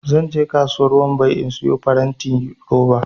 zan je kasuwar wambai in siyo farantin roba